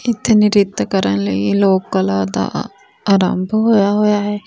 ਇੱਥੇ ਨ੍ਰਿਤ ਕਰਨ ਲਈ ਲੋਕਲ ਦਾ ਰੰਗ ਹੋਇਆ ਹੋਇਆ ਹੈ।